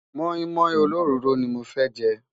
móin móin ólórọrò ní mọ fẹ jé